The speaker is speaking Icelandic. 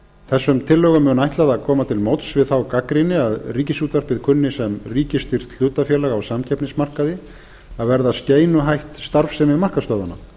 þessum tillögum mun ætlað að koma til móts við þá gagnrýni að ríkisútvarpið kunni sem ríkisstyrkt hlutafélag á samkeppnismarkaði að verða skeinuhætt starfsemi markaðsstöðvanna